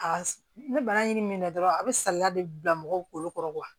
A ni bana y'i mɛnna dɔrɔn a be salaya de bila mɔgɔw kolo kɔrɔ kuwa